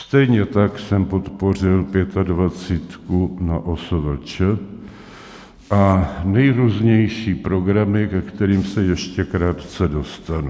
Stejně tak jsem podpořil Pětadvacítku na OSVČ a nejrůznější programy, ke kterým se ještě krátce dostanu.